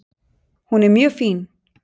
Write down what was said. Hún er mjög fín.